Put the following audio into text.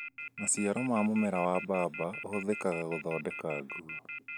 Maciaro ma mũmera wa mbamba ũhũthĩkaga gũthondeka nguo